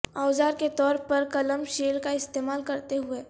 اوزار کے طور پر کلم شیل کا استعمال کرتے ہوئے